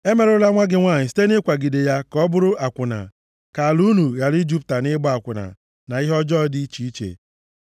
“ ‘Emerụla nwa gị nwanyị site nʼịkwagide ya ka ọ bụrụ akwụna, ka ala unu ghara ijupụta nʼịgba akwụna na ihe ọjọọ dị iche iche.